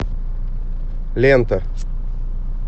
лента